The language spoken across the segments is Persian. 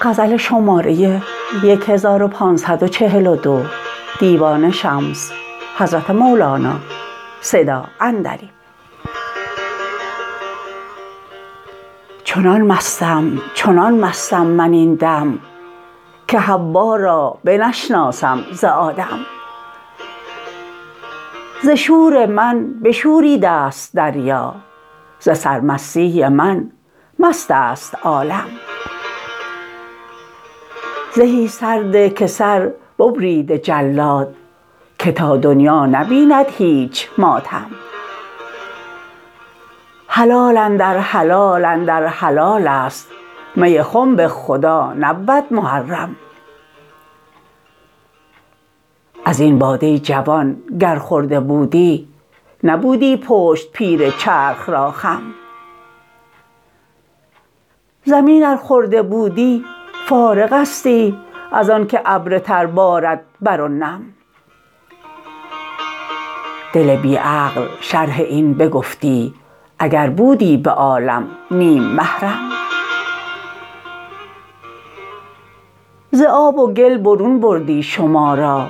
چنان مستم چنان مستم من این دم که حوا را بنشناسم ز آدم ز شور من بشوریده ست دریا ز سرمستی من مست است عالم زهی سر ده که سر ببریده جلاد که تا دنیا نبیند هیچ ماتم حلال اندر حلال اندر حلال است می خنب خدا نبود محرم از این باده جوان گر خورده بودی نبودی پشت پیر چرخ را خم زمین ار خورده بودی فارغستی از آن که ابر تر بارد بر او نم دل بی عقل شرح این بگفتی اگر بودی به عالم نیم محرم ز آب و گل برون بردی شما را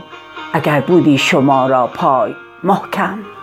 اگر بودی شما را پای محکم